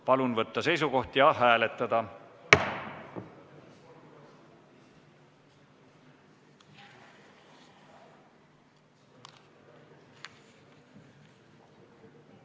Palun võtta seisukoht ja hääletada!